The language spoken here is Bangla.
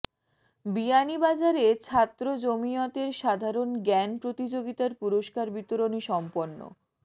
বিয়ানীবাজারে ছাত্র জমিয়তের সাধারণ জ্ঞান প্রতিযোগিতার পুরষ্কার বিতরণী সম্পন্ন